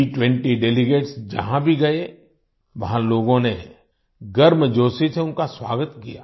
G20 delegates जहां भी गए वहां लोगों ने गर्मजोशी से उनका स्वागत किया